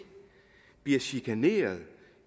bliver chikaneret